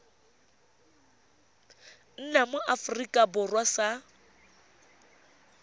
nna mo aforika borwa sa